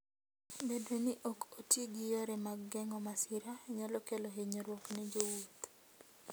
Bedo ni ok oti gi yore mag geng'o masira, nyalo kelo hinyruok ne jowuoth.